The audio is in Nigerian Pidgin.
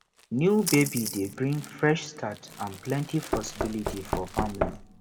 new baby dey bring fresh start and plenty possibilities for family